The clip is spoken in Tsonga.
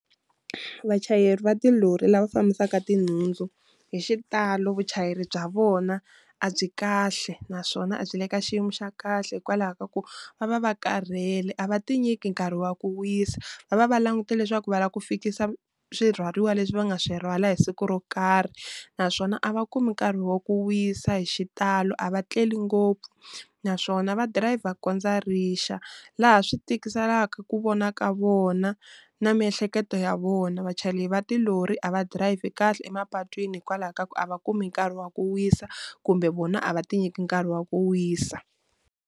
Vachayeri va tilori lava fambisaka tinhundzu hi xitalo vuchayeri bya vona a byi kahle naswona a byi le ka xiyimo xa kahle hikwalaho ka ku va va va karhele a va ti nyiki nkarhi wa ku wisa, va va va langutele leswaku va lava ku fikisa swi rhwariwa leswi va nga swi rhwala hi siku ro karhi naswona a va kumi nkarhi wa ku wisa hi xitalo a va tleli ngopfu, naswona va dirayivha ku kondza rixa laha swi tikiselaka ku vona ka vona na miehleketo ya vona, vachayeri va tilori a va dirayivhi kahle emapatwini hikwalaho ka ku a va kumi nkarhi wa ku wisa kumbe vona a va ti nyiki nkarhi wa ku wisa.